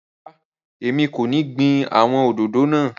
Ràrá, èmi kọ́ ní gbìn àwon òdòdó náà.